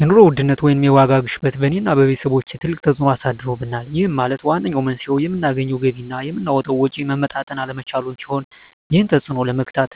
የኑሮ ውድነት ወይም የዋጋ ግሽበት በእኔ እና በቤተሰቦቸ ትልቅ ተፅእኖ አሳድሮብናል ይህም ማለት ዋነኛው መንስኤው የምናገኘው ገቢ እና የምናወጣው ወጪ መመጣጠን አለመቻሉን ሲሆን ይህንን ተፅዕኖ ለመግታት